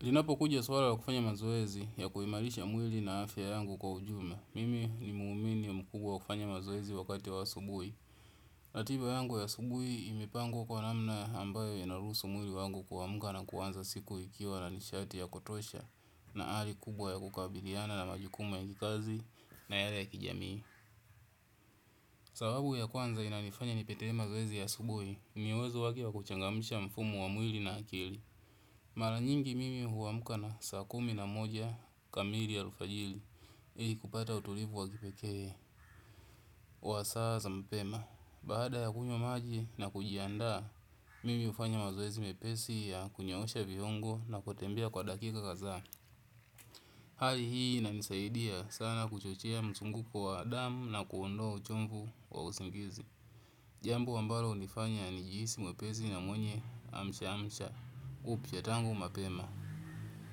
Linapo kuja swala wa kufanya mazoezi ya kuimarisha mwili na afya yangu kwa ujumla. Mimi ni mwumini ya mkubwa wa kufanya mazoezi wakati wa asubuhi. Ratiba yangu ya subui imepangwa kwa namna ambayo inaruhusu mwili wangu kuamka na kuanza siku ikiwa na nishati ya kotosha na hali kubwa ya kukabiliana na majukumu ya kikazi na yale ya kijamii. Sababu ya kwanza inanifanya nipitie mazoezi ya asubuhi, miwezo wa kuchangamisha mfumo wa mwili na akili. Mara nyingi mimi huamka saa kumi na moja kamili ya alfajiri. Ili kupata utulivu wa kipekee wa saa za mapema baada ya kunywa maji na kujiandaa mimi hufanya mazoezi mepesi ya kunyoosha viongo na kutembea kwa dakika kadhaa. Hali hii inanisaidia sana kuchochea mzunguko wa damu na kuondoa uchofu wa usingizi jambo ambalo hunifanya nijihisi mwepesi na mwenye amshamsha upya tangu mapema.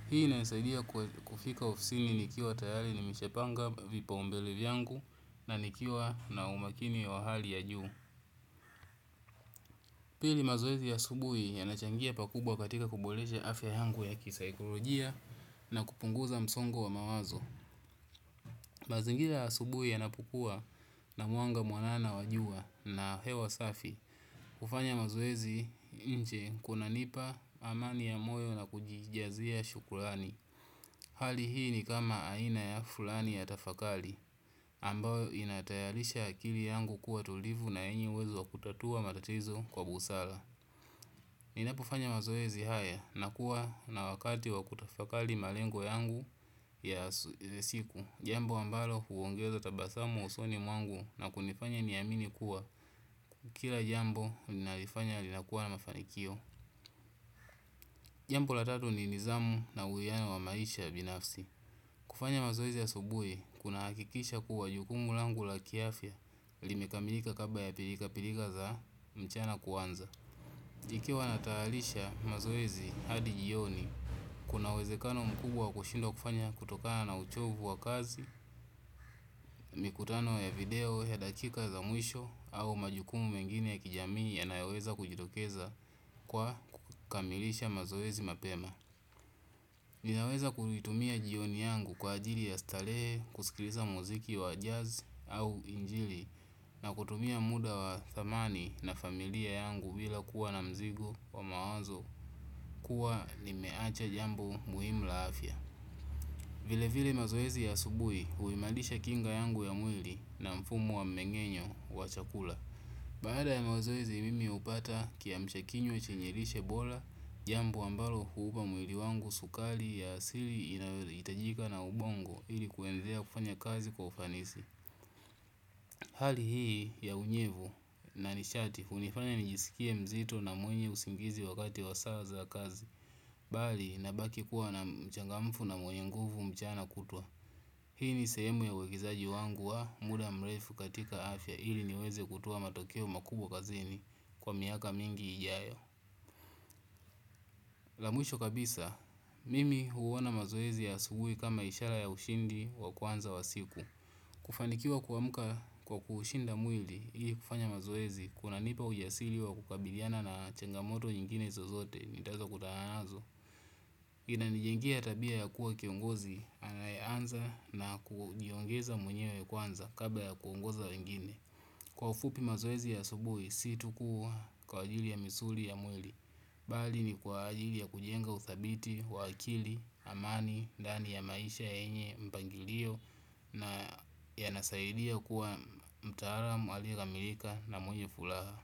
Hii inanisaidia kufika ufisini nikiwa tayari nimeshapanga vipaumbele vyangu na nikiwa na umakini wa hali ya juu. Pili mazoezi ya asubuhi yanachangia pakubwa katika kuboresha afya yangu ya kisaikolojia na kupunguza msongo wa mawazo. Mazingira ya asubuhi ya napukuwa na mwanga mwanana wa jua na hewa safi kufanya mazoezi nje kuna nipa amani ya moyo na kujijazia shukrani. Hali hii nikama aina ya fulani ya tafakari ambayo inatayarisha akili yangu kuwa tulivu na yenye uwezo wa kutatua matatizo kwa busara. Ninapofanya mazoezi haya na kuwa na wakati wakutafakari malengo yangu ya siku. Jambo ambalo huongeza tabasamu usoni mwangu na kunifanya niamini kuwa kila jambo ninalofanya huwa na mafanikio. Jambo la tatu ni nizamu na uwiana wa maisha binafsi. Kufanya mazoezi ya subuhi, kuna hakikisha kuwa jukumu langu la kiafya, limekamilika kabla ya pilika pilika za mchana kuanza. Ikiwa natayarisha mazoezi hadi jioni, kuna uwezekano mkubwa wa kushindwa kufanya kutokana na uchofu wa kazi, mikutano ya video ya dakika za mwisho, au majukumu mengine ya kijamii ya nayaweza kujitokeza kwa kukamilisha mazoezi mapema. Ninaweza kutumia jioni yangu kwa ajili ya starehe, kusikiliza muziki wa jazz au injili na kutumia muda wa thamani na familia yangu bila kuwa na mzigo wa mawazo kuwa limeacha jambu muhimu la afya. Vile vile mazoezi ya subuhi huimarisha kinga yangu ya mwili na mfumo wa mengenyo wa chakula. Baada ya mazoezi mimi hupata kiamshakinywa chenye lishe bora, jambo ambalo huupa mwili wangu sukari ya asili inayohitajika na ubongo ili kuwendea kufanya kazi kwa ufanisi. Hali hii ya unyevu na nishati, hunifanya nijisikie mzito na mwenye usingizi wakati wa saa za kazi, bali na baki kuwa na mchangamfu na mwenye nguvu mchana kutwa. Hii ni sehemu ya uwekezaji wangu wa muda mrefu katika afya ili niweze kutoa matokeo makubwa kazini kwa miaka mingi ijayo. Lamwisho kabisa, mimi huona mazoezi ya asubuhi kama ishara ya ushindi wa kwanza wa siku. Kufanikiwa kuamuka kwa kuhushinda mwili hii kufanya mazoezi kuna nipa ujasiri wa kukabiliana na changamoto nyingine zozote nitazo kutahanazo. Ina nijengia tabia ya kuwa kiongozi anayaanza na kujiongeza mwenyewe kwanza kabla ya kuongoza wengine. Kwa ufupi mazoezi ya asubuhi si tukuwa kwa ajili ya misuli ya mwili. Bali ni kwa ajili ya kujenga uthabiti, wa akili, amani, ndani ya maisha yenye, mpangilio. Na ya nasaidia kuwa mtaalamu, aliyekamiilika na mwenye furaha.